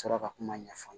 sɔrɔ ka kuma ɲɛfɔ